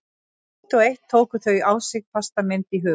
Eitt og eitt tóku þau á sig fasta mynd í huga